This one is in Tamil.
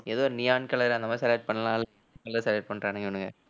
ஏதோ neon color அந்த மாதிரி select பண்ணலால்~ என்ன select பண்ணறானுங்க இவனுங்க